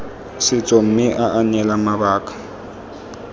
setso mme aa neela mabaka